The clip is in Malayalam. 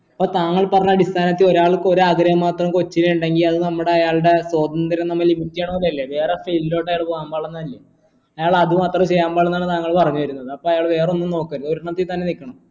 അപ്പോ താങ്കൾ പറഞ്ഞ അടിസ്ഥാനത്ത് ഒരാൾക്ക് ഒരു ആഗ്രഹം മാത്രം കൊച്ചില് ഇണ്ടെങ്കി അത് നമ്മടെ അയാളുടെ സ്വാതന്ത്ര്യ വേറെ field ലോട്ട് അയാൾ പോവാൻ പാടില്ലാന്ന് ആയിരിക്കും അയാൾ അത് മാത്രമേ ചെയ്യാൻ പാടുള്ളൂ എന്നാണ് താങ്കൾ പറഞ്ഞു വരുന്നത് അപ്പോ അയാൾ വേറെ ഒന്നും നോക്കരുത് ഒരെണ്ണത്തിൽ തന്നെ നിൽക്കണം